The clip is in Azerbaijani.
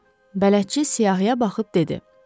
Bələdçi siyahıya baxıb dedi: